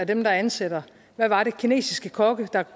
dem der ansætter var det kinesiske kokke der